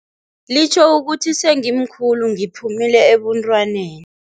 Litjho ukuthi sengimkhulu, ngiphumile ebuntwaneni.